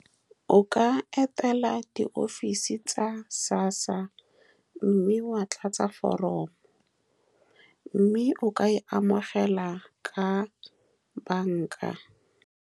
O ka etela di-office tsa SASSA, mme wa tlatsa foromo, mme o ka e amogela ka banka.